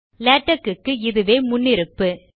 LaTeX க்கு இதுவே முன்னிருப்பாகும்